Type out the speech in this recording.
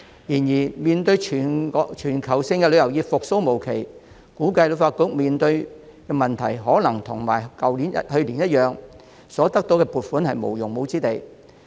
然而，面對全球旅遊業復蘇無期，我估計旅發局面對的問題可能會與去年一樣，得到的撥款無用武之地。